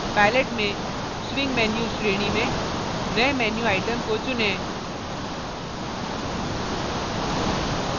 palette में swing menus श्रेणी में नये menu item को चुनें